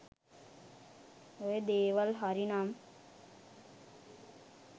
ඔය දේවල් හරි නම්